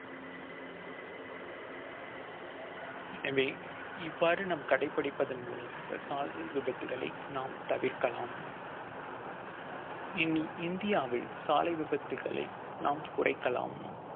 எனவே இவ்வாறு நாம் கடைப்பிடிப்பதன் மூலமாக சாலை விபத்துகளை நாம் தவிர்க்கலாம் இனி இந்தியாவில் சாலை விபத்துகளை நாம் குறைக்கலாம்